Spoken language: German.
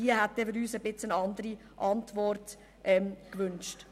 Wir hätten uns eine etwas andere Antwort gewünscht.